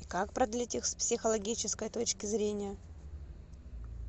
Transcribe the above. и как продлить их с психологической точки зрения